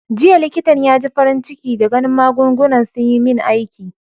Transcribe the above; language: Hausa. Jiya likitan ya ji farin ciki da ganin magungunan sun yi min aiki.